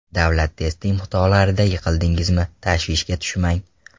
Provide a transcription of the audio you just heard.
Davlat test imtihonlaridan yiqildingizmi, tashvishga tushmang.